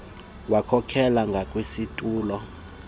wakhokela ngakwisitulo esasilapho